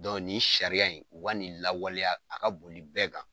nin sariya in u ka nin lawaleya a ka boli bɛɛ kan.